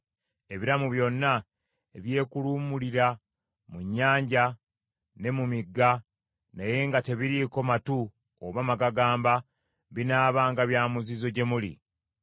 Ebiramu byonna ebyekuluumulira mu nnyanja ne mu migga naye nga tebiriiko matu oba magagamba binaabanga bya muzizo gye muli.